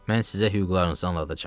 Mən sizə hüquqlarınızı anladacam.